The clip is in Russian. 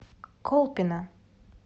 колпино